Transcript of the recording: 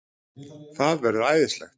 Það verður æðislegt!